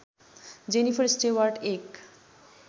Jennifer Stewart एक